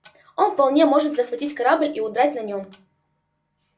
он вполне может захватить корабль и удрать на нем